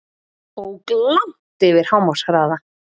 Ók langt yfir hámarkshraða